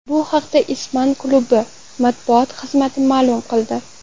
Bu haqda ispan klubi matbuot xizmati ma’lum qildi .